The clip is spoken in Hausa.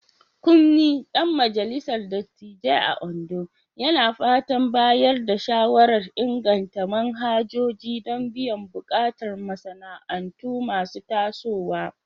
Kunmi, dan majalisar dattijai a Ondo, yana fatan bayar da shawarar inganta manhajoji don biyan bukatun masana'antu masu tasowa.